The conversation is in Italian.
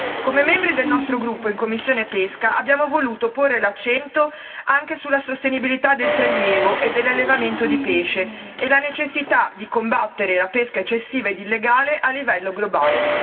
Come membri del nostro gruppo in commissione pesca abbiamo voluto porre l'accento anche sulla sostenibilità del prelievo e dell'allevamento di pesce e la necessità di combattere la pesca eccessiva ed illegale a livello globale.